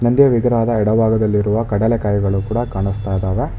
ನಂದಿಯ ವಿಗ್ರಹದ ಎಡ ಭಾಗದಲ್ಲಿರುವ ಕಡಲೆ ಕಾಯಿಗಳು ಕೂಡ ಕಾಣಸ್ತಾಇದಾವೆ.